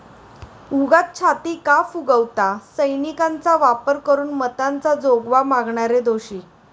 उगाच छाती का फुगवता? सैनिकांचा वापर करून मतांचा जोगवा मागणारे दोषी'